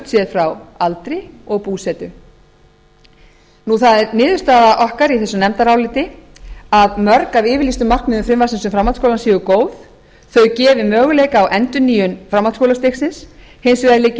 burtséð frá aldri og búsetu það er niðurstaða okkar í þessu nefndaráliti að mörg af yfirlýstum markmiðum frumvarpsins um framhaldsskólann séu góð þau gefi möguleika á endurnýjun framhaldsskólastigsins hins vegar liggi